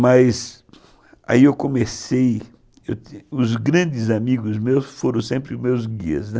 Mas aí eu comecei... Os grandes amigos meus foram sempre meus guias, né.